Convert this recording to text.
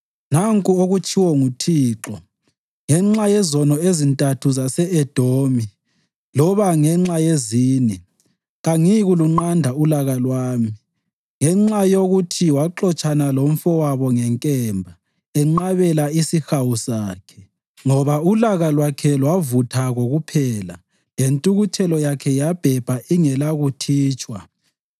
Nanku okutshiwo nguThixo: “Ngenxa yezono ezintathu zase-Edomi loba ngenxa yezine, kangiyikulunqanda ulaka lwami. Ngenxa yokuthi waxotshana lomfowabo ngenkemba, enqabela isihawu sonke, ngoba ulaka lwakhe lwavutha kokuphela lentukuthelo yakhe yabhebha ingelakuthitshwa,